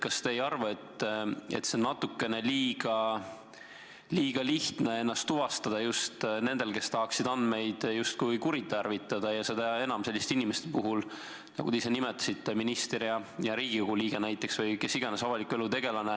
Kas te ei arva, et on natuke liiga lihtne ennast tuvastada just nendel, kes tahaksid andmeid justkui kuritarvitada, seda enam selliste inimeste puhul, nagu te ise nimetasite, kes on näiteks minister, Riigikogu liige või muu avaliku elu tegelane.